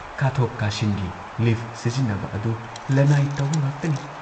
ꯀꯥꯊꯣꯛ ꯀꯥꯁꯤꯟꯒꯤ ꯂꯤꯐ ꯁꯤꯖꯤꯟꯅꯕ ꯑꯗꯨ ꯂꯟꯅꯥꯏ ꯇꯧꯕ ꯉꯥꯛꯇꯅꯤ ꯫